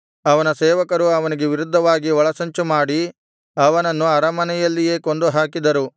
ಅವನ ಸೇವಕರು ಅವನಿಗೆ ವಿರುದ್ಧವಾಗಿ ಒಳಸಂಚುಮಾಡಿ ಅವನನ್ನು ಅರಮನೆಯಲ್ಲಿಯೇ ಕೊಂದು ಹಾಕಿದರು